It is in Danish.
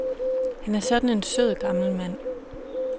Han er sådan en sød gammel mand.